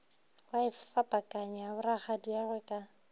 be a fapakanya borakgadiagwe ka